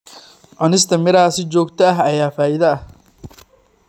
Cunista miraha si joogto ah ayaa faa'iido leh.